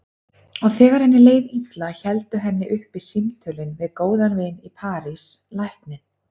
Og þegar henni leið illa héldu henni uppi símtölin við góðan vin í París, lækninn